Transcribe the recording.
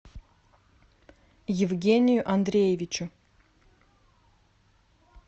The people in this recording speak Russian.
евгению андреевичу